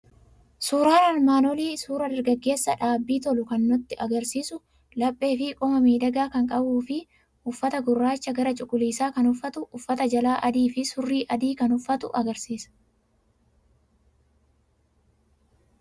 Suuraan armaan olii suuraa dargaggeessa dhaabbii tolu kan nutti argisiisu, laphee fi qoma miidhagaa kan qabu, uffata gurraacha gara cuquliisaa kan uffatu, uffata jalaa adii fi surrii adii kan uffatu agarsiisa.